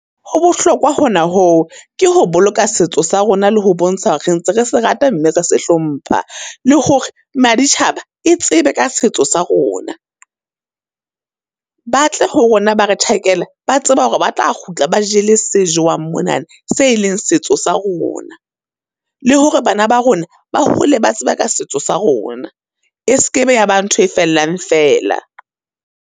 Ho bohlokwa hona ho, ke ho boloka setso sa rona le ho bontsha hore re ntse re se rata mme re se hlompha, le hore maditjhaba e tsebe ka setso sa rona. Batle ho rona ba re tjhakela, ba tseba hore ba tla kgutla ba jele se jowang monana, se e leng setso sa rona. Le hore bana ba rona, ba hole ba tseba ka setso sa rona, seke be ya ba ntho e fellang fela.